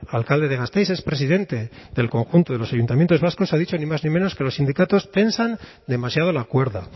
alcalde de gasteiz es presidente del conjunto de los ayuntamientos vascos ha dicho ni más ni menos que los sindicatos tensan demasiado la cuerda